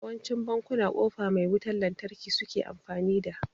yawancin bankuna kofa mai wutan lantarki suke amfani da